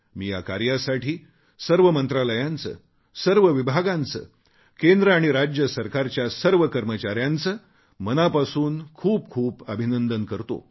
मी या कार्यासाठी सर्व मंत्रालयांचे सर्व विभागांचे केंद्र आणि राज्य सरकारच्या सर्व कर्मचाऱ्यांचे मनापासून खूप खूप अभिनंदन करतो